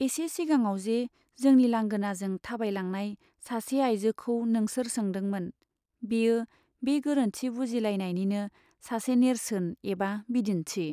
एसे सिगाङावजे जोंनि लांगोनाजों थाबायलांनाय सासे आइजोखौ नोंसोर सोंदोंमोन, बेयो बे गोरोन्थि बुजिलायनायनिनो सासे नेर्सोन एबा बिदिन्थि।